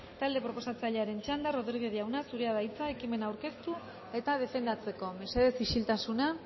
talde proposatzailearen txanda rodriguez jauna zurea da hitza ekimena aurkeztu eta defendatzeko mesedez isiltasuna